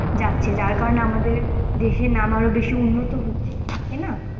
যাচ্ছে, যার কারণে আমাদের দেশের নাম আরও বেশি উন্নত হচ্ছে, তাই না?